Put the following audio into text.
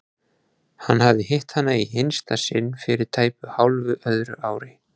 Hann hafði hitt hana í hinsta sinn fyrir tæpu hálfu öðru ári.